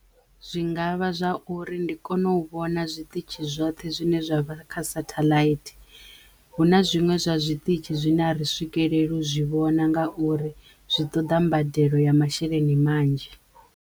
Zwi nga vha zwa uri ndi kono u vhona zwiṱitshi zwoṱhe zwine zwa kha sathaḽaithi hu na zwiṅwe zwa zwiṱitshi zwine a ri zwi swikelele u zwi vhona ngauri zwi ṱoḓa mbadelo ya masheleni manzhi.